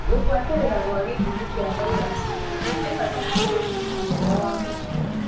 Kũbuatĩrĩra gwa gĩthimi kĩa virasi nĩ bata harĩ ũrigiti mwega wa mũkingo.